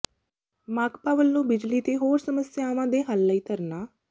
ਮਾਕਪਾ ਵੱਲੋਂ ਬਿਜਲੀ ਤੇ ਹੋਰ ਸਮੱਸਿਆਵਾਂ ਦੇ ਹੱਲ ਲਈ ਧਰਨਾ